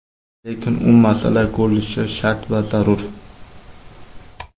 Lekin u masala ko‘rilishi shart va zarur!